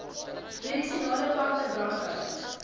medisinale plante brandhout